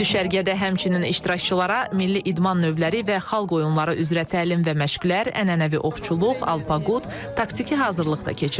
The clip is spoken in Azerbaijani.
Düşərgədə həmçinin iştirakçılara milli idman növləri və xalq oyunları üzrə təlim və məşqlər, ənənəvi oxçuluq, alpaqut, taktiki hazırlıq da keçirilir.